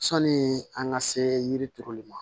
Sɔni an ka se yiri turuli ma